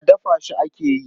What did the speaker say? Alala dafa shi ake yi.